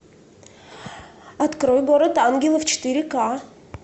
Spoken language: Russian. открой город ангелов четыре ка